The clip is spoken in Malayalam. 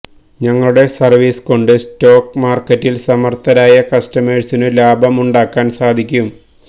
ഞങ്ങളുടെ സർവ്വീസ് കൊണ്ട് സ്റ്റോക്ക് മാർക്കറ്റിൽ സമർത്ഥരായ കസ്റ്റമേഴ്സിനു ലാഭം ഉണ്ടാക്കാൻ സാധിക്കും